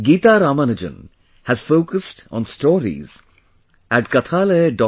Geeta Ramanujan has focussed on stories at kathalaya